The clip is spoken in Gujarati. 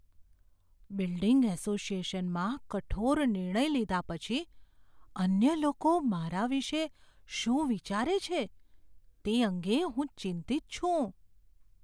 બિલ્ડિંગ એસોસિએશનમાં કઠોર નિર્ણય લીધા પછી અન્ય લોકો મારા વિશે શું વિચારે છે તે અંગે હું ચિંતિત છું.